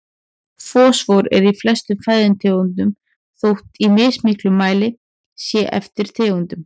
Fosfór er í flestum fæðutegundum þótt í mismiklum mæli sé eftir tegundum.